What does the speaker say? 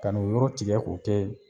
Kan'o yɔrɔ tigɛ k'o kɛ